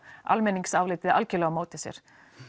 almenningsálitið algerlega á móti sér